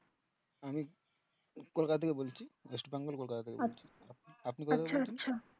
আমি কলকাতা থেকে বলছি ওয়েস্ট বেঙ্গল কলকাতা থেকে বলছি